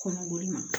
Kɔnɔko ma